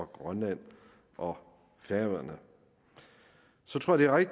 grønland og færøerne så tror jeg